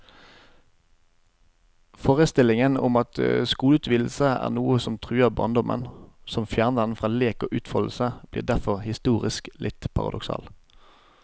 Forestillingen om at skoleutvidelser er noe som truer barndommen, som fjerner den fra lek og utfoldelse, blir derfor historisk litt paradoksal.